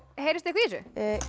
heyrist eitthvað í þessu